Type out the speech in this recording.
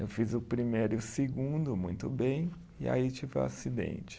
Eu fiz o primeiro e o segundo muito bem e aí tive o acidente.